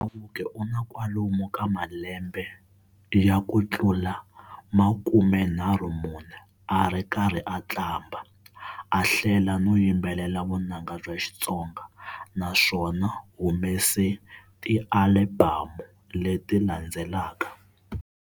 Chauke una kwalomu ka malembe ya kutlula 34 ari karhi aqambha, a hlela no yimbelela vunanga bya Xitsonga, naswona humese ti Albhamu leti landzelaka.